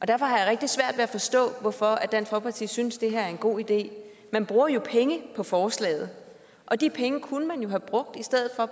derfor har jeg rigtig svært ved at forstå hvorfor dansk folkeparti synes det her er en god idé man bruger jo penge på forslaget og de penge kunne man i have brugt